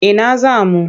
Ina za mu?